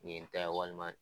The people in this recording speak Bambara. Nin ye n ta ye walima